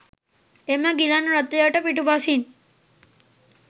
එම ගිලන් රථයට පිටුපසින්